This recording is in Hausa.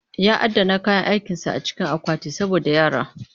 Ya adana kayan aikinsa a cikin akwati saboda yara